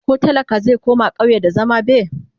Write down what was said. koh talaka zai koma ƙauye da zama be?